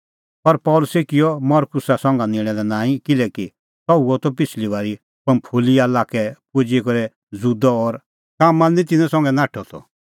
पर पल़सी किअ मरकुस संघा निंणां लै नांईं किल्हैकि सह हुअ त पिछ़ली बारी पंफूलिआ लाक्कै पुजी करै ज़ुदअ और कामां लै निं तिन्नां संघै नाठअ त